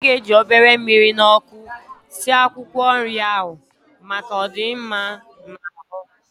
A ga-eji obere mmiri na ọkụ sie akwụkwọ nrị ahụ, maka, ọ dị mma n'ahụ